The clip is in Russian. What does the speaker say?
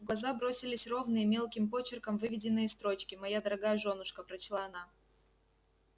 в глаза бросились ровные мелким почерком выведенные строчки моя дорогая жёнушка прочла она